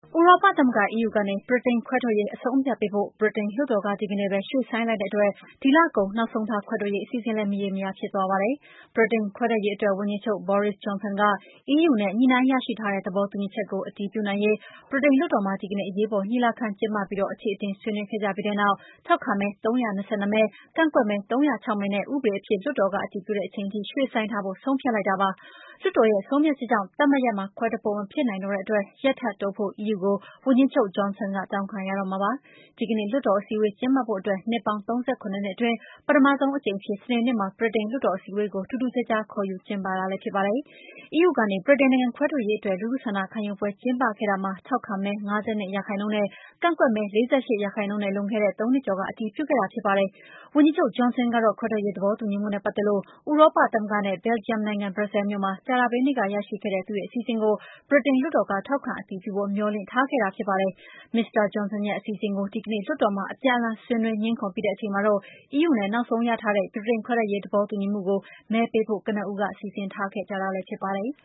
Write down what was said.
ဥရောပသမဂ္ဂ (EU) ကနေ ဗြိတိန်ခွဲထွက်ရေး အဆုံးအဖြတ်ပေးဖို့ ဗြိတိန်လွှတ်တော်က ဒီကနေ့ပဲ ရွှေ့ဆိုင်းလိုက်တဲ့အတွက် ဒီလကုန် နောက်ဆုံးထား ခွဲထွက်ရေး အစီအစဉ်လည်း မရေမရာ ဖြစ်သွားပါတယ်။ ဗြိတိန်ခွဲထွက်ရေးအတွက် ဝန်ကြီးချုပ် Boris Johnson က EU နဲ့ ညှိနှိုင်းရရှိထားတဲ့ သဘောတူညီချက်ကို အတည်ပြုနိုင်ရေး ဗြိတိန်လွှတ်တော်မှာ ဒီကနေ့ အရေးပေါ် ညီလာခံ ကျင်းပပြီး အချေအတင် ဆွေးနွေးခဲ့ကြပြီးနောက် ထောက်ခံမဲ ၃၂၂ မဲ၊ ကန့်ကွက်မဲ ၃၀၆ မဲနဲ့ ဥပဒေအဖြစ် လွှတ်တော်က အတည်ပြုတဲ့အချိန်အထိ ရွှေ့ဆိုင်းထားဖို့ ဆုံးဖြတ်လိုက်တာပါ။ လွှတ်တော်ရဲ့ ဆုံးဖြတ်ချက်ကြောင့် သတ်မှတ်ရက်မှာ ခွဲထွက်ဖို့ မဖြစ်နိုင်တော့တဲ့အတွက် ရက်ထပ်တိုးဖို့ EU ကို ဝန်ကြီးချုပ် Johnson က တောင်းခံရတော့မှာ ဖြစ်ပါတယ်။ ဒီကနေ့ လွှတ်တော်အစည်းအဝေး ကျင်းပဖို့အတွက် နှစ်ပေါင်း ၃၇ နှစ်အတွင်း ပထမဆုံးအကြိမ်အဖြစ် စနေနေ့မှာ ဗြိတိန် လွှတ်တော်အစည်းအဝေးကို ထူးထူးခြားခြား ကျင်းပတာလည်း ဖြစ်ပါတယ်။ EU ကနေ ဗြိတိန်နိုင်ငံ ခွဲထွက်ရေးအတွက် လူထုဆန္ဒခံယူပွဲ ကျင်းပခဲ့တာမှာ ထောက်ခံမဲ ၅၂%၊ ကန့်ကွက်မဲ ၄၈% နဲ့ လွန်ခဲ့တဲ့ ၃ နှစ်ကျော်က အတည်ပြုခဲ့တာပါ။ ဝန်ကြီးချုပ် Johnson ကတော့ ခွဲထွက်ရေးသဘောတူညီမှုနဲ့ ပတ်သက်လို့ ဥရောပသမဂ္ဂနဲ့ ဘယ်လ်ဂျီယံနိုင်ငံ ဘရပ်ဆဲလ်မြို့မှာ ကြာသပတေးနေ့က ရခဲ့တဲ့ သူ့အစီအစဉ်ကို ဗြိတိန်လွှတ်တော်က ထောက်ခံအတည်ပြုဖို့ မျှော်လင့်ထားတာ ဖြစ်ပါတယ်။ Mr. Johnson ရဲ့ အစီအစဉ်ကို ဒီကနေ့ လွှတ်တော်မှာ အပြန်အလှန် ဆွေးနွေးငြင်းခုံပြီးတဲ့ အချိန်မှာတော့ EU နဲ့ နောက်ဆုံးရလာတဲ့ ဗြိတိန်ခွဲထွက်ရေး သဘောတူညီမှုကို မဲပေးဖိ့ု ကနဦး စီစဉ်ထားတာလည်း ဖြစ်ပါတယ်။